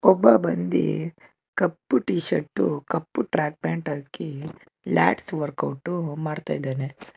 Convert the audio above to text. ಒಬ್ಬ ಬಂದಿ ಕಪ್ಪು ಟಿ ಶರ್ಟು ಕಪ್ಪು ಟ್ರ್ಯಾಕ್ ಪ್ಯಾಂಟ್ ಹಾಕಿ ಲ್ಯಾಟ್ಸ ವರ್ಕ್ಔಟ್ ಮಾಡ್ತಾಇದಾನೆ.